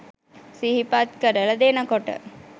සිහිපත් කරල දෙනකොට